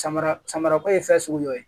Samara samara ko ye fɛn sugu dɔ ye